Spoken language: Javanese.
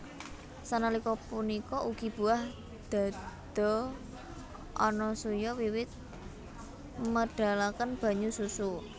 Sanalika punika ugi buah dhadha Anasuya wiwit medalaken banyu susu